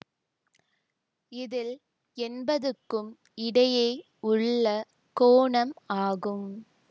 இதில் என்பதுக்கும் இடையே உள்ள கோணம் ஆகும்